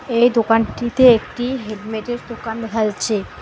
এই দোকানটিতে একটি হেলমেটের দোকান দেখা যাচ্ছে।